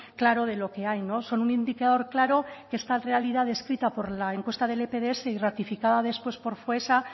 claro de lo que hay no son un indicador claro que esta realidad descrita por la encuesta del epds y ratificada después por foessa